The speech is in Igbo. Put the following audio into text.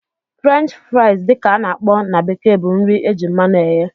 French fries dị ka a na-akpọ na bekee bụ nri eji mmanụ eghe